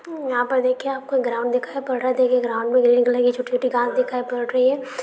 यहां पर देखिए आपको ग्राउंड दिखाई पड़ रहा है देखिए ग्राउंड में ग्रीन कलर की छोटी छोटी घास दिखाई पड़ रही है।